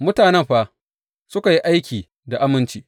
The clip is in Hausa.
Mutanen fa suka yi aiki da aminci.